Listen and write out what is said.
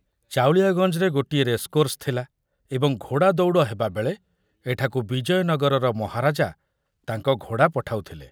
ଚାଉଳିଆଗଞ୍ଜରେ ଗୋଟିଏ ରେସକୋର୍ସ ଥିଲା ଏବଂ ଘୋଡ଼ାଦୌଡ଼ ହେବାବେଳେ ଏଠାକୁ ବିଜୟନଗରର ମହାରାଜା ତାଙ୍କ ଘୋଡ଼ା ପଠାଉଥିଲେ।